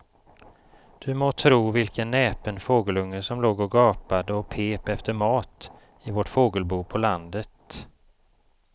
Du må tro vilken näpen fågelunge som låg och gapade och pep efter mat i vårt fågelbo på landet.